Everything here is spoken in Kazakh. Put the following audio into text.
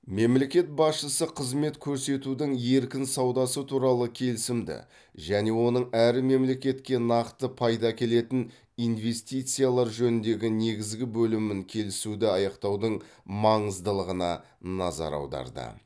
мемлекет басшысы қызмет көрсетудің еркін саудасы туралы келісімді және оның әр мемлекетке нақты пайда әкелетін инвестициялар жөніндегі негізгі бөлімін келісуді аяқтаудың маңыздылығына назар аударды